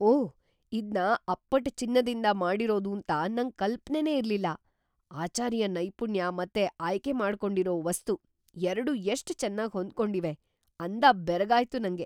ಓಹ್‌! ಇದ್ನ ಅಪ್ಪಟ ಚಿನ್ನದಿಂದ ಮಾಡಿರೋದೂಂತ ನಂಗ್‌ ಕಲ್ಪನೆನೇ ಇರ್ಲಿಲ್ಲ. ‌ಆಚಾರಿಯ ನೈಪುಣ್ಯ ಮತ್ತೆ ಆಯ್ಕೆಮಾಡ್ಕೊಂಡಿರೋ ವಸ್ತು ಎರ್ಡೂ ಎಷ್ಟ್ ಚೆನ್ನಾಗ್‌ ಹೊಂದ್ಕೊಂಡಿವೆ ಅಂದ ಬೆರಗಾಯ್ತು ನಂಗೆ.